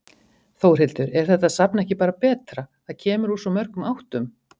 Þórhildur: Er þetta safn ekki bara betra, það kemur úr svo mörgum áttum?